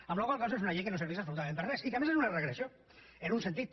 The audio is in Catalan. amb la qual cosa és una llei que no serveix absolutament per a res i que a més és una regressió en un sentit